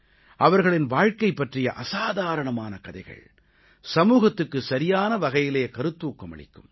அவர்களின் வாழ்க்கை பற்றிய அசாதாரணமான கதைகள் சமூகத்துக்கு சரியான வகையிலே கருத்தூக்கம் அளிக்கும்